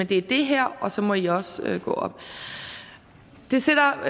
det er det her og så må i også gå op det sætter